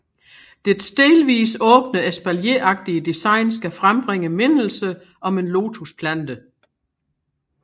Dets delvis åbne espalieragtige design skal frembringe mindelse om en lotusplante